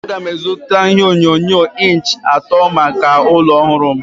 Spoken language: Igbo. Aga m azụta ihe onyonyo inch iri atọ maka ụlọ ọhụrụ m.